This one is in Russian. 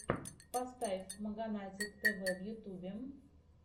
поставь маганатик тв в ютубе